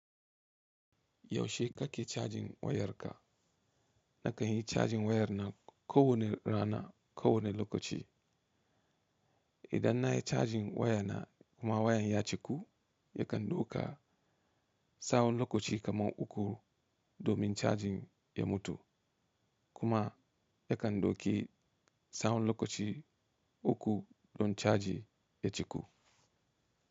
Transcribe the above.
Yaushe kake cajin wayarka? Nakan yi cajin wayar na kowane rana, kowane lokaci. Idan na yi cajin wayana kuma wayan ya ciku, yakan ɗauka tsawon lokaci kamar uku domin cajin ya mutu kuma yakan ɗauki tsawon lokaci uku don caji ya ciku.